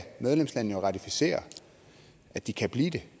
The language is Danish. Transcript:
medlemslandene jo ratificere at de kan blive det